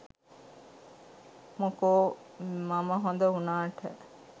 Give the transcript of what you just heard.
මොකෝ මම හොඳ උනාට.